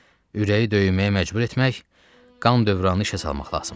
Ürəyi döyməyə məcbur etmək, qan dövranı işə salmaq lazımdır.